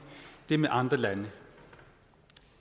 det med andre lande